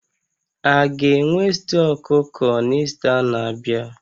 A ga-enwe stew ọkụkọ na Ista na-abịa?